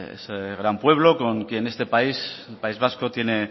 ese gran pueblo con quien este país el país vasco tiene